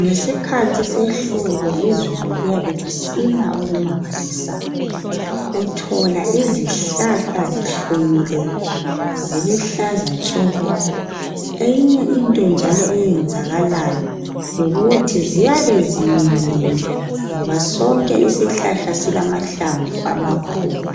Ngesikhathi sehlobo izulu liyabe lisina okumangalisayo. Uthola izihlahla zihlumile ziluhlaza tshoko. Eyinye into njalo eyenzakalayo yikuthi ziyabe ziminyene ngoba sonke isihlahla silamahlamvu amakhulu